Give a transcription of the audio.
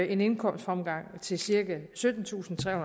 en indkomstfremgang til cirka syttentusinde og